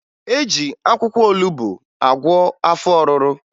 E ji akwụkwọ olubo agwọ afọ ọrụrụ